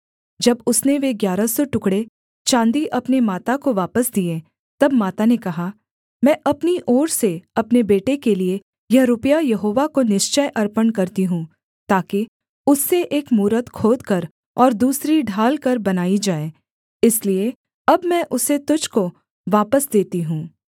जब उसने वे ग्यारह सौ टुकड़े चाँदी अपनी माता को वापस दिए तब माता ने कहा मैं अपनी ओर से अपने बेटे के लिये यह रुपया यहोवा को निश्चय अर्पण करती हूँ ताकि उससे एक मूरत खोदकर और दूसरी ढालकर बनाई जाए इसलिए अब मैं उसे तुझको वापस देती हूँ